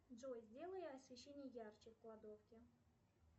джой сделай освещение ярче в кладовке